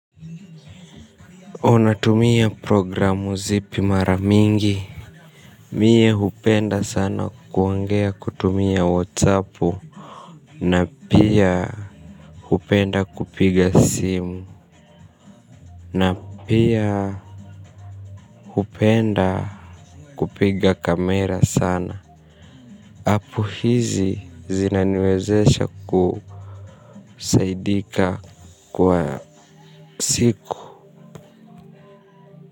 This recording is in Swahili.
Unatumia programu zipi mara mingi, mie hupenda sana kuongea kutumia whatsappu, na pia hupenda kupiga simu, na pia hupenda kupiga kamera sana, app hizi zinaniwezesha kusaidika kwa siku.